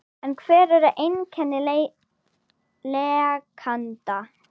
En hver eru einkenni lekanda?